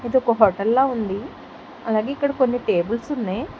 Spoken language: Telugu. ఇదొక హొటల్లా ఉంది అలాగే ఇక్కడ కొన్ని టేబుల్స్ ఉన్నయ్.